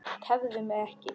Tefðu mig ekki.